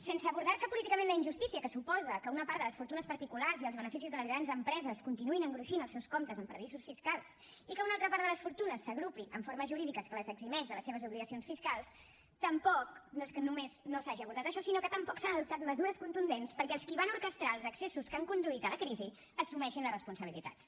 sense abordar políticament la injustícia que suposa que una part de les fortunes particulars i els beneficis de les grans empreses continuïn engruixint els seus comptes en paradisos fiscals i que una altra part de les fortunes s’agrupi en formes jurídiques que les eximeix de les seves obligacions fiscals tampoc no és que només no s’hagi abordat això sinó que tampoc s’han adoptat mesures contundents perquè els qui van orquestrar els excessos que han conduït a la crisi assumeixin les responsabilitats